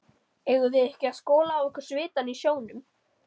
Eigum við ekki að skola af okkur svitann í sjónum?